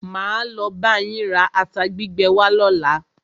Máa lo bá yín ra ata gbígbẹ wá lọ́la.